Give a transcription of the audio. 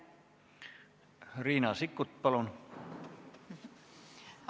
Riina Sikkut, palun!